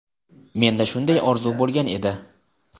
Menda shunday orzu bo‘lgan edi.